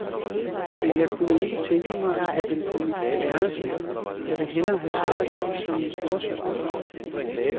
Men jeg kunne ikke tænke mig at have den på mit værelse, jeg vil hellere have sådan én som min storesøster har.